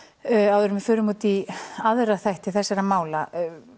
áður en við förum út í aðra þætti þessara mála